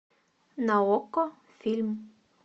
на окко фильм